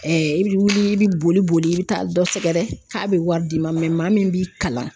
i bɛ wili i bɛ boli boli i bɛ taa dɔ sɛgɛrɛ k'a bɛ wari d'i ma mɛ maa min b'i kalan